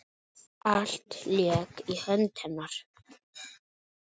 Allt lék í höndum hennar.